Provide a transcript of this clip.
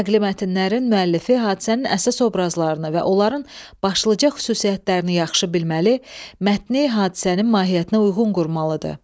Nəqli mətnlərin müəllifi hadisənin əsas obrazlarını və onların başlıca xüsusiyyətlərini yaxşı bilməli, mətni hadisənin mahiyyətinə uyğun qurmalıdır.